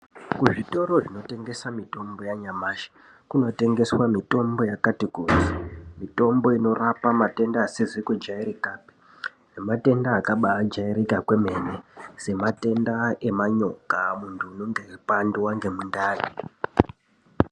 Kuzvitoro zvinotengeswa mitombo yanyamashi kunotengeswa mitombo yakati kuti mitombo inorapa matenda asizi kujairikapi nematenda akabajairika kwemene sematenda emanyoka muntu unenge weipandwa ngemundani.